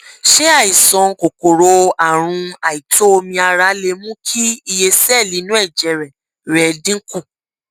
ṣé àìsàn kòkòrò àrùn àìtó omi ara lè mú kí iye sẹẹlì inú ẹjẹ rẹ rẹ dínkù